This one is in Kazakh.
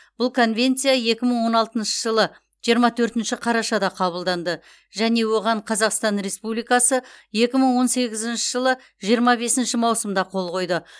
бұл конвенция екі мың он алтыншы жылы жиырма төртінші қарашада қабылданды және оған қазақстан республикасы екі мың он сегізінші жылы жиырма бесінші маусымда қол қойды